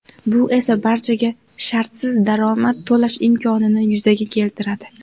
Bu esa barchaga shartsiz daromad to‘lash imkonini yuzaga keltiradi.